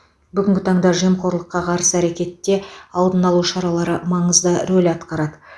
бүгінгі таңда жемқорлыққа қарсы әрекетте алдын алу шаралары маңызды рөл атқарады